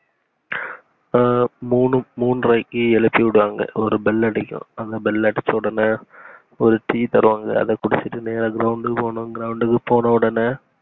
ஆ மூனு மூன்ரைக்கி எழுப்பிவிடுவாங்க ஒரு bell அடிக்கும் அந்த bell அடிச்சவுடனே ஒரு டீ தருவாங்க அத குடிச்சிட்டு நேரா ground க்கு போகணும் ground க்கு போனவுடனே